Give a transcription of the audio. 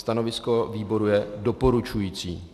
Stanovisko výboru je doporučující.